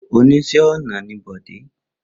Oníṣẹ́ ọnà ni Bọ̀dé.